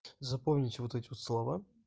запомните вот эти вот слова